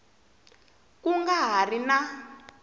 ku nga ha ri na